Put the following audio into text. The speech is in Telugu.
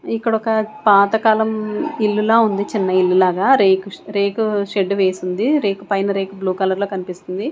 ఇక్కడ ఒక పాత కాలం ఇల్లు లా ఉంది చిన్న ఇల్లు లాగా రేకు సె రేకు షెడ్ వేసుంది రేకు పైనా రేకు బ్లూ కలర్ లో కనిపిస్తుంది.